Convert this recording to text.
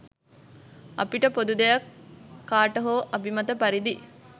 අපිට පොදු දෙයක් කාට හෝ අභිමත පරිදි